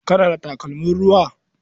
Kana da takalmin ruwa?